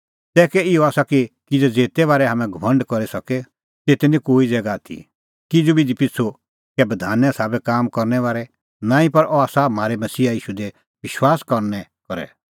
तै कै इहअ आसा किज़ै ज़ेते बारै हाम्हैं घमंड करी सके तेते निं कोई ज़ैगा आथी किज़ू बिधी पिछ़ू कै बधाने साबै काम करने बारै नांईं पर अह आसा म्हारै मसीहा ईशू दी विश्वास करनै करै